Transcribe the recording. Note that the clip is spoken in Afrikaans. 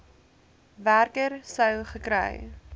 werker sou gekry